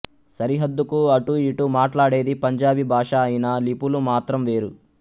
సరిహద్దుకు అటూ ఇటూ మాట్లాడేది పంజాబీ భాష అయినా లిపులు మాత్రం వేరు